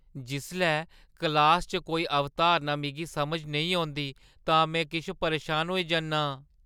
जिसलै क्लासा च कोई अवधारणा मिगी समझ नेईं औंदी तां में किश परेशान होई जन्ना आं।